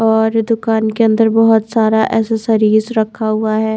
और दुकान के अंदर बहोत सारा एसोसरिज रखा हुआ है।